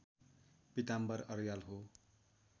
पीताम्बर अर्याल हो